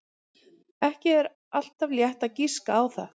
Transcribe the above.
Ekki er alltaf létt að giska á það.